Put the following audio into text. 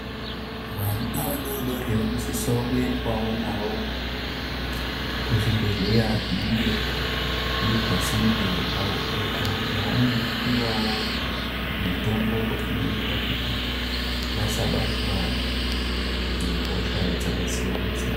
Vana vadodori vano sisa kuendwawo navo ku zvibhedhleya zvinenge zviri pasinde uku kwaanono piwawo mitombo inoita kuti vasa batwa ne hosha dzaka siyana siyana.